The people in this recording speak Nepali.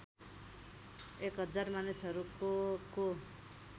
१००० मानिसहरूको को